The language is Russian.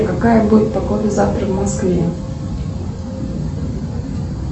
какая будет погода завтра в москве